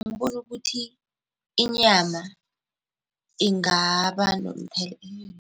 Ngibona ukuthi inyama ingaba